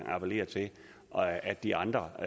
appellere til at de andre